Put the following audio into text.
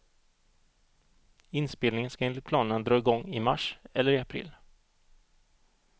Inspelningen ska enligt planerna dra igång i mars eller i april.